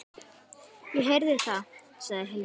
Ég heyri það, sagði Hilmar.